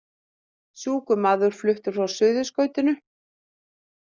Sjúkur maður fluttur frá Suðurskautinu